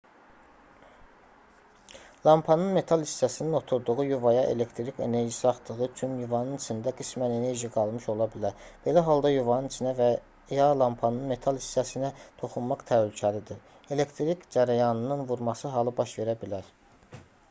lampanın metal hissəsinin oturduğu yuvaya elektrik enerjisi axdığı üçün yuvanın içində qismən enerji qalmış ola bilər belə halda yuvanın içinə və ya lampanın metal hissəsinə toxunmaq təhlükəlidir elektrik cərəyanın vurması halı baş verə bilər